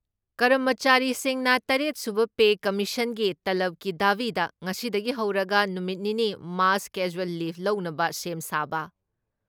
ꯀꯔꯝꯃꯆꯥꯔꯤꯁꯤꯡꯅ ꯇꯔꯦꯠ ꯁꯨꯕ ꯄꯦ ꯀꯃꯤꯁꯟꯒꯤ ꯇꯂꯕꯀꯤ ꯗꯥꯕꯤꯗ ꯉꯁꯤꯗꯒꯤ ꯍꯧꯔꯒ ꯅꯨꯃꯤꯠ ꯅꯤꯅꯤ ꯃꯥꯁ ꯀꯦꯖ꯭ꯋꯦꯜ ꯂꯤꯐ ꯂꯧꯅꯕ ꯁꯦꯝ ꯁꯥꯕ,